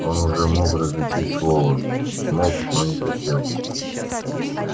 он уже мог различить слова мог но не хотел